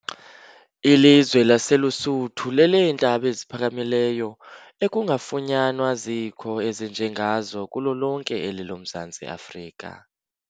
Ilizwe laseLusuthu leleentaba eziphakamileyo, ekungafunyanwa zikho ezinje ngazo kulo lonke eli lomZantsi Afrika.